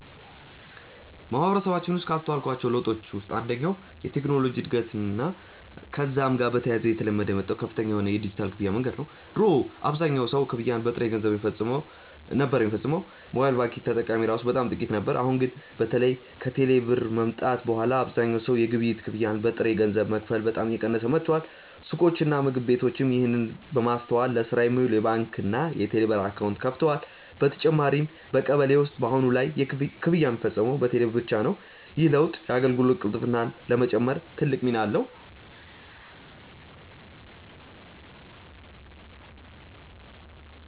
በማህበረሰባችን ውስጥ ካስተዋልኳቸው ለውጦች ውስጥ አንደኛው የቴክኖሎጂ እድገትና ከዛም ጋር በተያያዘ እየተለመደ የመጣው ከፍተኛ የሆነ የዲጂታል ክፍያ መንገድ ነው። ድሮ አብዛኛው ሰው ክፍያን በጥሬ ገንዘብ ነበር ሚፈጽመው፤ ሞባይል ባንኪንግ ተጠቃሚ እራሱ በጣም ጥቂት ነበር። አሁን ላይ ግን በተለይ ከቴሌ ብር መምጣት በኋላ አብዛኛው ሰው የግብይት ክፍያን በጥሬ ገንዘብ መክፈል በጣም እየቀነሰ መጥቷል። ሱቆችና ምግብ ቤቶችም ይህንን በማስተዋል ለስራ የሚውል የባንክና የቴሌብር አካውንት ከፍተዋል። በተጨማሪም በቀበሌ ውስጥ በአሁን ላይ ክፍያ ሚፈጸመው በቴሌ ብር ብቻ ነው። ይህ ለውጥ የአገልግሎት ቅልጥፍናን ለመጨመር ትልቅ ሚና አለው።